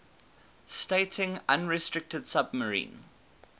stating unrestricted submarine